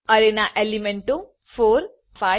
અરેના એલીમેન્ટો 4 5 અને 6 છે